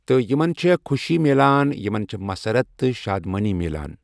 تہٕ یِمن چھےٚ خوشی میٛلان یِمن چھےٚ مسرت تہٕ شاد مٲنی میلان